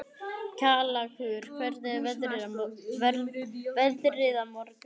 Kjallakur, hvernig er veðrið á morgun?